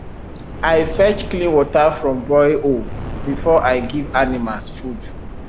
i fetch clean water from borehole before i give animals food